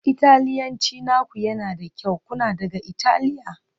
Italiyanci naku yana da kyau, kuna daga Italiya?